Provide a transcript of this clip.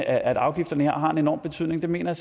at afgifterne her har en enorm betydning mener